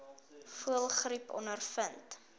voëlgriep ondervind